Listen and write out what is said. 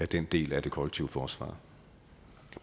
den del af det kollektive forsvar